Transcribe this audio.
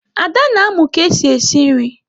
Ada na-amụ ka esi esi nri.